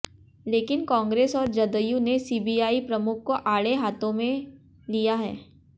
लेकिन कांग्रेस और जदयू ने सीबीआइ प्रमुख को आड़े हाथों लिया है